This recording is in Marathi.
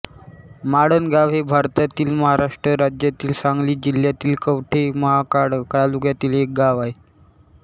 माळणगाव हे भारतातील महाराष्ट्र राज्यातील सांगली जिल्ह्यातील कवठे महांकाळ तालुक्यातील एक गाव आहे